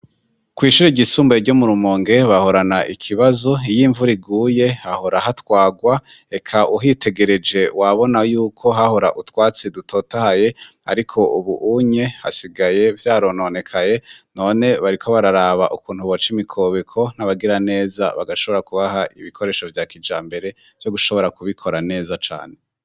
kw'ishure ryisumbuye ryo mu rumonge bahorana ikibazo iy'imvura iguye hahora hatwagwa reka uhitegereje wabona yuko hahora utwatsi dutotahaye ariko ubuhunye hasigaye vyarononekaye none bariko bararaba ukuntu boca imikobeko n'abagira neza bagashobora kubaha ibikoresho vya kijambere vyo gushobora kubikora neza cane.